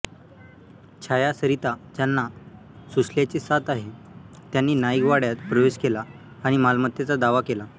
छाया सरिता ज्यांना सुश्ल्याची साथ आहे त्यांनी नाईक वाड्यात प्रवेश केला आणि मालमत्तेचा दावा केला